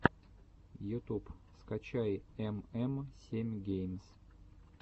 ютуб скачай эм эм семь геймс